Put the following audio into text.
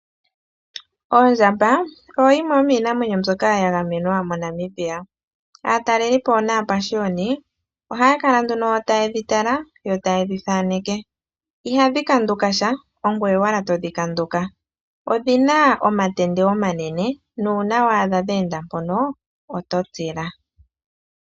Ondjamba oyo yimwe yomiinamwenyo mbyoka ya gamenwa moNamibia, aatalelelipo naapashiyoni ohaya kala nduno tayedhi tala yo tayedhi thaaneke. Ihadhi kandukasha, ongoye owala todhi kanduka. Odhina omatende omanene nuuna wa adha dhe enda mpono oto tila.